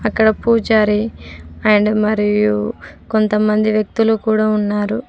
అక్కడ పూజారి అండ్ మరియు కొంతమంది వ్యక్తులు కూడా ఉన్నారు.